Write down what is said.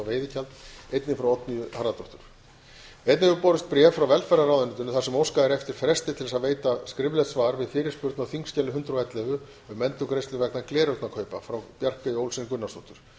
veiðigjald frá oddnýju g harðardóttur einnig hefur borist bréf frá velferðarráðuneytinu þar sem óskað er eftir fresti til að veita skriflegt svar við fyrirspurn á þingskjali hundrað og ellefu um endurgreiðslur vegna gleraugnakaupa frá bjarkeyju olsen gunnarsdóttur